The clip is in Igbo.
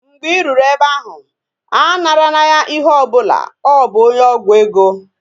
Mgbe I ruru ebe ahụ, anara na ya ihe ọbụla, ọ bụ onye ọgwụ ego